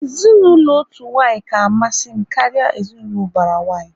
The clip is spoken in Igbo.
Ezinaụlọ otu nwanyi ka amasị m karịa ezinaụlọ ubara nwanyị